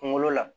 Kunkolo la